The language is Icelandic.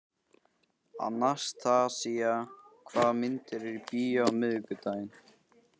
Anastasía, hvaða myndir eru í bíó á miðvikudaginn?